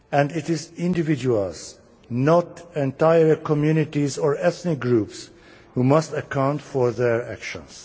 It is individuals, not entire communities or ethnic groups, who must account for their actions.